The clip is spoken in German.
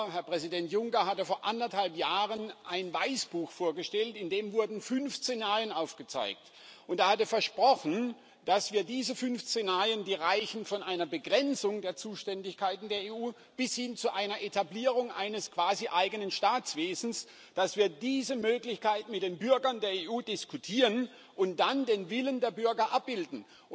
Herr Präsident Juncker hatte vor anderthalb Jahren ein Weißbuch vorgestellt, in dem fünf Szenarien aufgezeigt wurden, und er hatte versprochen, dass wir diese fünf Szenarien die reichen von einer Begrenzung der Zuständigkeiten der EU bis hin zu einer Etablierung eines quasi eigenen Staatswesens dass wir diese Möglichkeit mit den Bürgern der EU diskutieren und dann den Willen der Bürger abbilden.